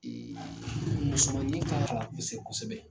musomanin ka kosɛbɛ.